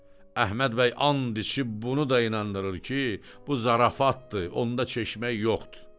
Əhməd bəy and içib bunu da inandırır ki, bu zarafatdır, onda çeşmək yoxdur.